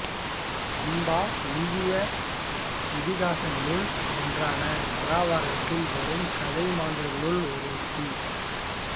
அம்பா இந்திய இதிகாசங்களுள் ஒன்றான மகாபாரதத்தில் வரும் கதை மாந்தர்களுள் ஒருத்தி